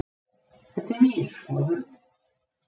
Þetta er mín skoðun